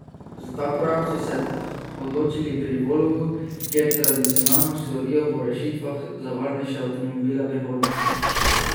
Za ta korak so se odločili pri Volvu, kjer tradicionalno slovijo po rešitvah za varnejše avtomobile prihodnosti.